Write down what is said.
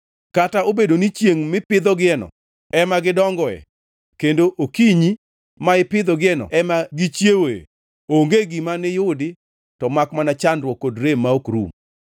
kata obedo ni chiengʼ mipidhogieno ema gidongoe kendo okinyi ma ipidhogieno ema gichiewoe, onge gima niyudi to makmana chandruok kod rem ma ok rum.